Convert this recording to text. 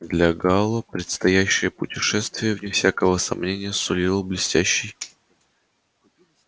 для гаала предстоящее путешествие вне всякого сомнения сулило блестящий